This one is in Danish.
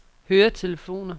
høretelefoner